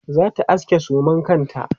zata aske suman kanta